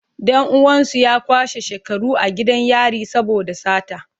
Dan uwansu ya kwashe shekaru a gidan yari saboda sata.